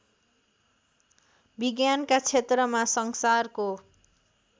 विज्ञानका क्षेत्रमा संसारको